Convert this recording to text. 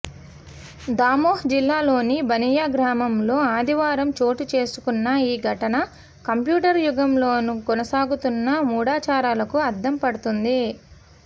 దమోహ్ జిల్లాలోని బనియా గ్రామంలో ఆదివారం చోటుచేసుకున్న ఈ ఘటన కంప్యూటర్ యుగంలోనూ కొనసాగుతున్న మూఢాచారాలకు అద్దం పడుతోంది